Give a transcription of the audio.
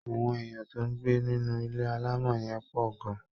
Àwọn èèyàn tó ń gbé nínú ilé alámọ̀ yẹn pọ̀ gan